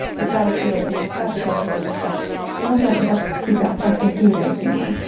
Itse allekirjoitin päätöslauselman, mutta en osaa sitä pitää kaikkein kiireellisimpänä.